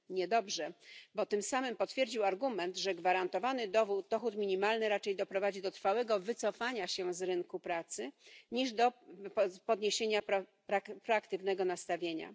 Niedobrze, bo tym samym potwierdził argument, że gwarantowany dochód minimalny raczej doprowadzi do trwałego wycofania się z rynku pracy niż do zwiększenia proaktywnego nastawienia.